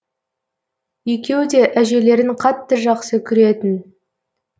екеуі де әжелерін қатты жақсы көретін